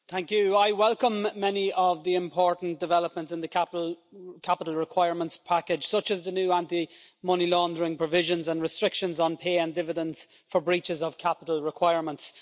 Madam President, I welcome many of the important developments in the Capital Requirements Package, such as the new anti money laundering provisions and restrictions on pay and dividends for breaches of capital requirements.